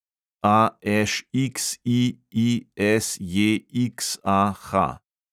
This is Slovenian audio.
AŠXIISJXAH